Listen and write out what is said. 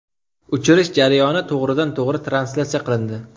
Uchirish jarayoni to‘g‘ridan-to‘g‘ri translyatsiya qilindi.